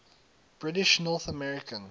british north american